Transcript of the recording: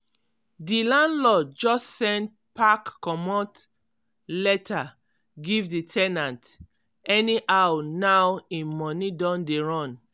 di landlord just send pack comot letter give di ten ant anyhow now im money don dey run.